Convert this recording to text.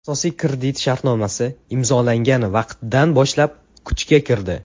Asosiy kredit shartnomasi imzolangan vaqtdan boshlab kuchga kirdi.